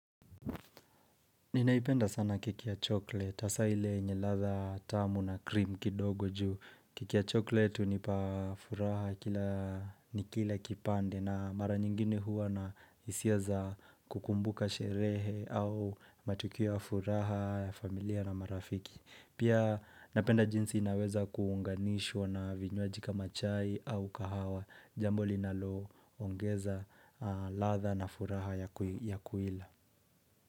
Ninaipenda sana kike ya chocolate, hasa hile lenye ladha tamu na krim kidogo juu. Keki ya chocolate tu nipa furaha ni kila kipande na mara nyingine huwa na hisia za kukumbuka sherehe au matukio ya furaha ya familia na marafiki. Pia napenda jinsi inaweza kuunganishwa na vinywaji kama chai au kahawa. Jambo linalo ongeza ladha na furaha ya kuila.